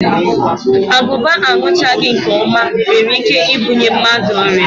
Agụba aṅụchaghị nke ọma nwere ike ibunye mmadụ ọrịa